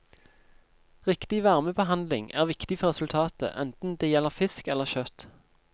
Riktig varmebehandling er viktig for resultatet, enten det gjelder fisk eller kjøtt.